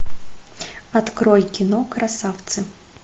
открой кино красавцы